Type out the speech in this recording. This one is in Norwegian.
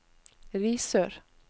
Risør